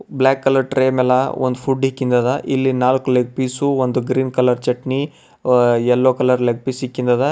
Block colour tray ಮ್ಯಾಲ ಒಂದ್ food ಇಕ್ಕಿಂದ ಅದ ಇಲ್ಲಿ ನಾಲ್ಕು ಲೆಗ್ ಪೀಸು ಒಂದು green colour chutney yellow colour leg piece ಇಕ್ಕಿಂದ ಅದ.